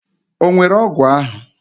Onwere ogwu ahu?